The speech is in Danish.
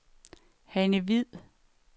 Hanne Hviid